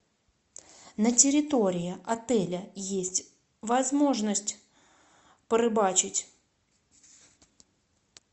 на территории отеля есть возможность порыбачить